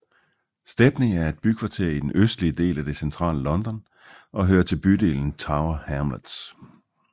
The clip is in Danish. Stepney er et bykvarter i den østlige del af det centrale London og hører til bydelen Tower Hamlets